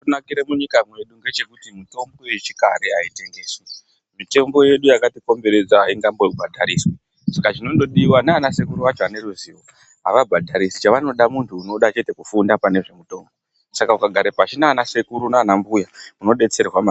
Chakanakire munyika mwedu ngechekuti mitombo yechikare ayitengeswi. Mitombo yedu yakatikomberedza aingambobhadhariswi. Saka zvinondodiwa ndianasekuru acho ane ruzivo avabhadharisi chavanongoda muntu anoda chete kufunda nezvemutombo ,saka ukagare pashi naanasekuru naanambuya unodetserwa maningi.